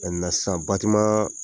sisan